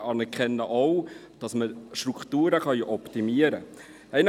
Wir anerkennen aber auch, dass wir Strukturen optimieren können.